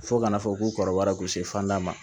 Fo kana fɔ ko kɔrɔbayara ko se fanda ma